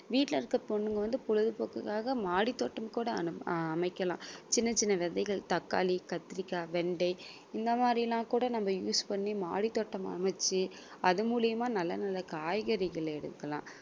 வீட்ல இருக்குற பொண்ணுங்க வந்து பொழுதுபோக்குக்காக மாடித்தோட்டம் கூட அனு~ அமைக்கலாம். சின்ன சின்ன விதைகள் தக்காளி கத்திரிக்காய் வெண்டை இந்த மாதிரி எல்லாம் கூட நம்ம use பண்ணி மாடித்தோட்டம் அமைச்சு அது மூலியமா நல்ல நல்ல காய்கறிகள் எடுக்கலாம்